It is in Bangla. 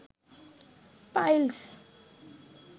পাইলস